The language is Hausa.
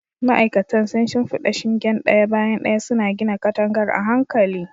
Ma'aikatan sun shimfida shingen ɗaya bayan ɗaya, suna gina katangar a hankali.